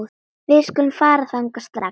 Við skulum fara þangað strax